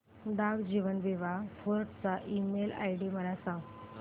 डाक जीवन बीमा फोर्ट चा ईमेल आयडी मला सांग